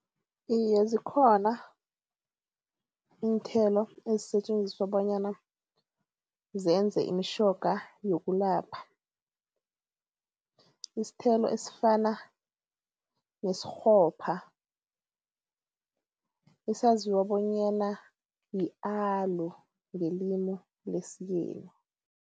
Iye zikhona, iinthelo ezisetjenziswa bonyana zenze imitjhoga yokulapha. Isthelo esifana nesikghopha, esaziwa bonyana yi-aloe ngelimi lesiyeni.